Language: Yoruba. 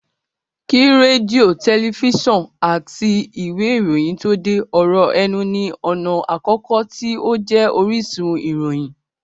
Kí rédíò, tẹlifísàn àti ìwé ìròyìn tó dé, ọ̀rọ̀ ẹnu ní ọ̀nà àkọ́kọ́ tí ó jẹ́ orísun ìròyìn